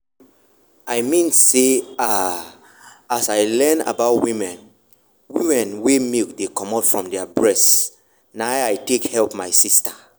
i mean say ah as i learn about women women wen milk dey comot from their breast na i take help my sister.